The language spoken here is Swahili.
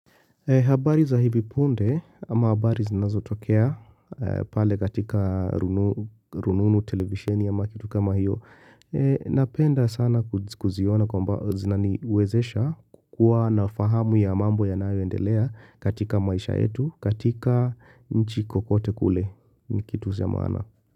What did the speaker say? Habari za hivi punde ama habari zinazo tokea pale katika rununu televisheni ama kitu kama hiyo. Napenda sana kuziona kwamba zinaniwezesha kuwa nafahamu ya mambo ya nayo endelea katika maisha yetu, katika nchi kokote kule ni kitu cha maana.